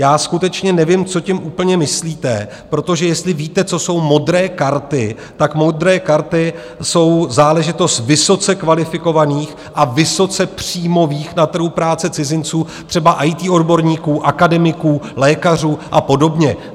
Já skutečně nevím, co tím úplně myslíte, protože jestli víte, co jsou modré karty, tak modré karty jsou záležitost vysoce kvalifikovaných a vysoce příjmových na trhu práce cizinců, třeba IT odborníků, akademiků, lékařů a podobně.